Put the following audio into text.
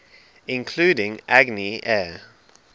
including agni air